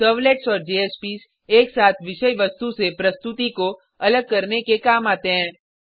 servlets और JSPs एक साथ विषय वस्तु से प्रस्तुति को अलग करने के काम आते हैं